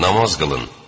Namaz qılın!